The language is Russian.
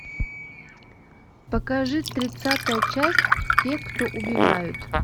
покажи тридцатая часть те кто убивают